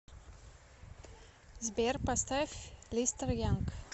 сбер поставь листер янг